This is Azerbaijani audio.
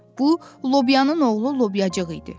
Bu, Lobyanın oğlu Lobyacıq idi.